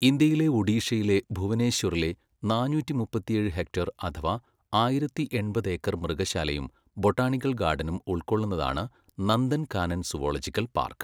ഇന്ത്യയിലെ ഒഡീഷയിലെ ഭുവനേശ്വറിലെ നാന്നൂറ്റി മുപ്പത്തിയേഴ് ഹെക്ടർ അഥവാ ആയിരത്തി എൺപത് ഏക്കർ മൃഗശാലയും ബൊട്ടാണിക്കൽ ഗാർഡനും ഉൾക്കൊള്ളുന്നതാണ് നന്ദൻ കാനൻ സുവോളജിക്കൽ പാർക്ക്.